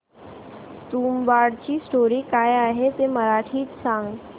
तुंबाडची स्टोरी काय आहे ते मराठीत सांग